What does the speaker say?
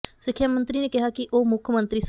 ਸਿੱਖਿਆ ਮੰਤਰੀ ਨੇ ਕਿਹਾ ਕਿ ਉਹ ਮੁੱਖ ਮੰਤਰੀ ਸ